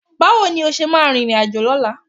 Báwo ni o ṣe máa rìnrìnàjò lọ́la?